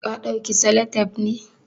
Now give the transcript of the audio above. Ka dauki salatep ne?